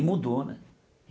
E mudou né.